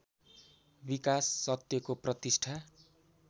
विकास सत्यको प्रतिष्ठा